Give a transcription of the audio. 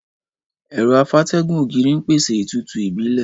Ẹ̀rọ afátẹ́gùn ògiri ń pèsè ìtútù ìbílẹ̀.